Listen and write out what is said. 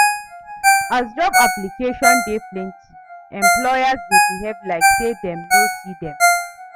As job application dey plenty, employers dey behave like say dem no see dem.